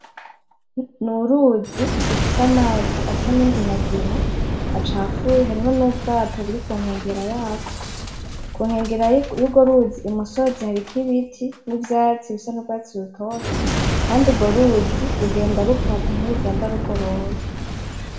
N'uruzi rufise amazi asa n'inginangina acafuye, hariho nubwato buri kunkengera yarwo. Kunkengera y'urwo ruzi umusozi hariko ibiti nivyatsi bisa nurwatsi rutoto. Kandi urwo ruzi rugenda rukata ntirugenda rugoroye.